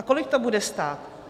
A kolik to bude stát?